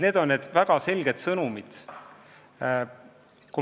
Need on väga selged sõnumid.